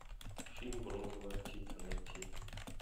фильм бронзовая птица найти